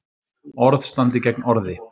Orð standi gegn orði